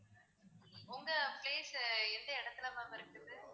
உங்க place எந்த இடத்துல ma'am இருக்குது